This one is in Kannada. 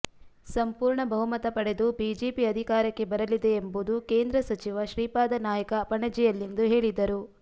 ಸಂಪೂರ್ಣ ಬಹುಮತ ಪಡೆದು ಬಿಜೆಪಿ ಅಧಿಕಾರಕ್ಕೆ ಬರಲಿದೆ ಎಂಬುದು ಕೇಂದ್ರ ಸಚಿವ ಶ್ರೀಪಾದ ನಾಯ್ಕ ಪಣಜಿಯಲ್ಲಿಂದು ಹೇಳಿದರು